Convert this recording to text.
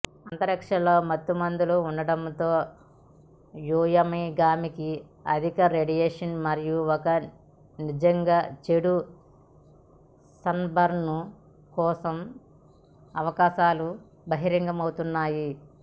అంతరిక్షంలో మత్తుమందు ఉండటంతో వ్యోమగామికి అధిక రేడియేషన్ మరియు ఒక నిజంగా చెడు సన్బర్న్ కోసం అవకాశాలు బహిర్గతమవుతున్నాయి